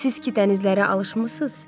Siz ki dənizlərə alışmısınız?